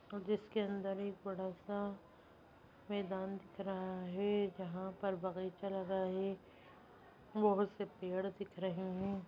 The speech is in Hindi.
जिसके अंदर एक बड़ा-सा मैदान दिख रहा है जहाँ पर बगीचा लगा है बहुत से पेड़ दिख रहे हैं।